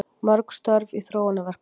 Mörg störf í þróunarverkefnum